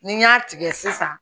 Ni n y'a tigɛ sisan